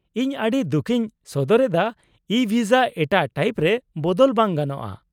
-ᱤᱧ ᱟᱹᱰᱤ ᱫᱩᱠᱷᱤᱧ ᱥᱚᱫᱚᱨ ᱮᱫᱟ, ᱤᱼᱵᱷᱤᱥᱟ ᱮᱴᱟᱜ ᱴᱟᱭᱤᱯ ᱨᱮ ᱵᱚᱫᱚᱞ ᱵᱟᱝ ᱜᱟᱱᱚᱜᱼᱟ ᱾